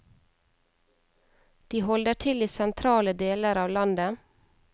De holder til i sentrale deler av landet.